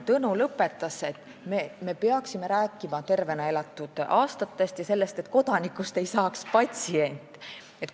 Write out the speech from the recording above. Tõnu lõpetas sellega, et me peaksime rääkima tervena elatud aastatest ja sellest, et kodanikust ei saaks patsient.